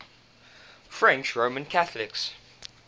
french roman catholics